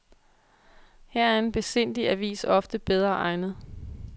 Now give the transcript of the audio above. Her er en besindig avis ofte bedre egnet.